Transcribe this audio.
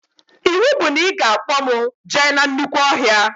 Iwu bụ na ị ga-akpọ mụ jee na nnukwu ọhịa